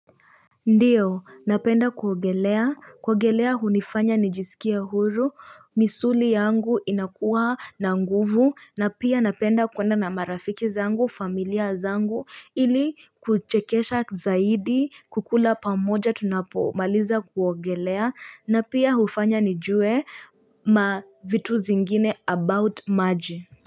Ndio napenda kuogelea kuogelea hunifanya nijisikie huru misuli yangu inakuwa na nguvu na pia napenda kwenda na marafiki zangu familia zangu ili kuchekesha zaidi kukula pamoja tunapomaliza kuogelea na pia hufanya nijue ma vitu zingine about maji.